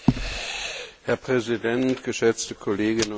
Herr Präsident, geschätzte Kolleginnen und Kollegen!